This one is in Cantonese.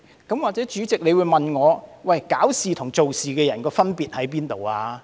也許主席會問我，搞事與做事的人有甚麼分別？